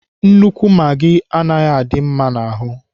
Nnukwu magị anaghị adị mma n'ahụ.